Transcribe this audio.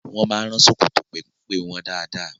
Wọ́n máa ń rán ṣòkòtò pẹ́mpẹ́ wọn dáadáa.